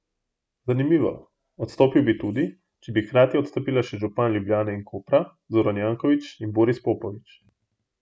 Zanimivo, odstopil bi tudi, če bi hkrati odstopila še župana Ljubljane in Kopra Zoran Janković in Boris Popovič.